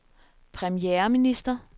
premierminister